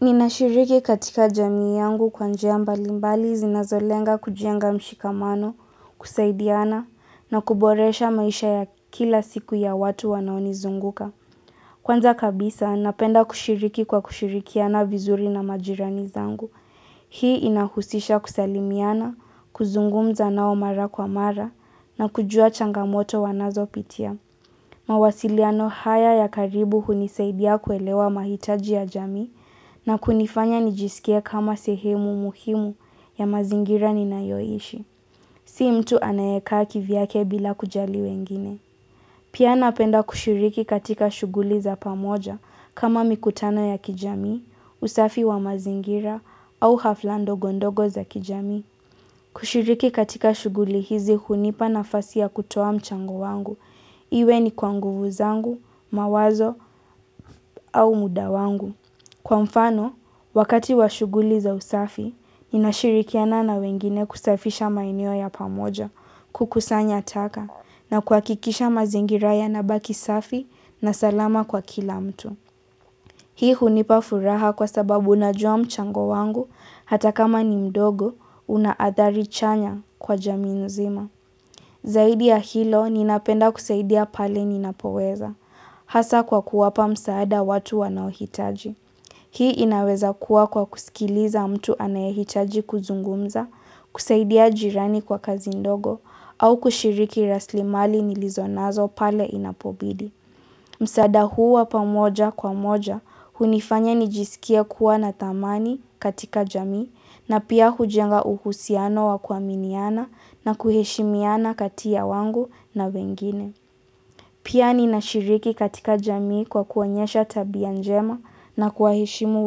Ninashiriki katika jamii yangu kwa njia mbalimbali zinazolenga kujenga mshikamano, kusaidiana na kuboresha maisha ya kila siku ya watu wanaonizunguka. Kwanza kabisa, napenda kushiriki kwa kushirikiana vizuri na majirani zangu. Hii inahusisha kusalimiana, kuzungumza nao mara kwa mara na kujua changamoto wanazopitia. Mawasiliano haya ya karibu hunisaidia kuelewa mahitaji ya jamii na kunifanya nijisikie kama sehemu muhimu ya mazingira ninayoishi. Si mtu anayekaa kivyake bila kujali wengine. Pia napenda kushiriki katika shughuli za pamoja kama mikutano ya kijamii, usafi wa mazingira au hafla ndogondogo za kijamii. Kushiriki katika shughuli hizi hunipa nafasi ya kutoa mchango wangu. Iwe ni kwa nguvu zangu, mawazo au muda wangu. Kwa mfano, wakati wa shughuli za usafi, ninashirikiana na wengine kusafisha maeneo ya pamoja, kukusanya taka, na kuhakikisha mazingira yanabaki safi na salama kwa kila mtu. Hii hunipa furaha kwa sababu najua mchango wangu, hata kama ni mdogo, una adhari chanya kwa jamii mzima. Zaidi ya hilo, ninapenda kusaidia pale ninapoweza, hasa kwa kuwapa msaada watu wanaohitaji. Hii inaweza kuwa kwa kusikiliza mtu anayehitaji kuzungumza, kusaidia jirani kwa kazi ndogo, au kushiriki raslimali nilizonazo pale inapobidi. Msaada huu wa pamoja kwa moja hunifanya nijisikie kuwa na thamani katika jamii na pia hujenga uhusiano wa kuaminiana na kuheshimiana kati ya wangu na wengine. Pia ninashiriki katika jamii kwa kuonyesha tabia njema na kuwaheshimu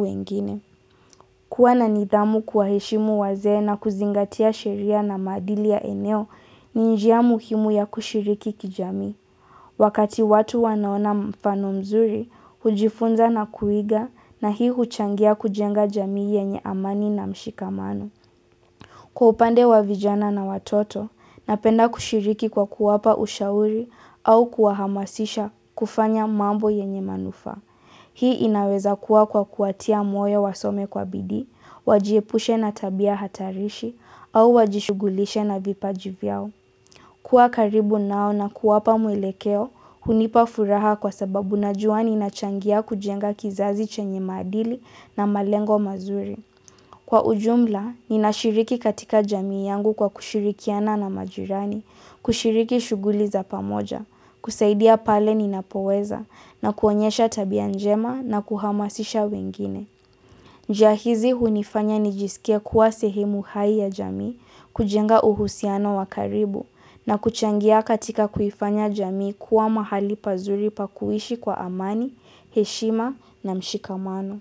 wengine. Kuwa na nidhamu kuwaheshimu wazee na kuzingatia sheria na maadili ya eneo ni njia muhimu ya kushiriki kijamii. Wakati watu wanaona mfano mzuri, hujifunza na kuiga na hii huchangia kujenga jamii yenye amani na mshikamano. Kwa upande wa vijana na watoto, napenda kushiriki kwa kuwapa ushauri au kuwahamasisha kufanya mambo yenye manufaa. Hii inaweza kuwa kwa kuwatia moyo wasome kwa bidii, wajiepushe na tabia hatarishi, au wajishugulishe na vipaji vyao. Kuwa karibu nao na kuwapa mwelekeo, hunipa furaha kwa sababu najua ninachangia kujenga kizazi chenye madili na malengo mazuri. Kwa ujumla, ninashiriki katika jamii yangu kwa kushirikiana na majirani, kushiriki shughuli za pamoja, kusaidia pale ninapoweza, na kuonyesha tabia njema na kuhamasisha wengine. Njia hizi hunifanya nijisikie kuwa sehemu hai ya jamii, kujenga uhusiano wa karibu na kuchangia katika kuifanya jamii kuwa mahali pazuri pa kuishi kwa amani, heshima na mshikamano.